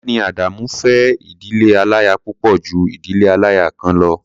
Ọ̀gbẹ́ni Adamu fẹ́ ìdílé aláya púpọ̀ ju ìdílé aláya kan lọ.